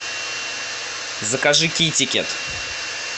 закажи китикет